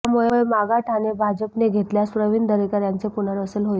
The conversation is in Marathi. त्यामुळे मागाठाणे भाजपने घेतल्यास प्रविण दरेकर यांचे पुनर्वसन होईल